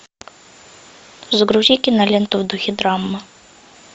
загрузи киноленту в духе драмы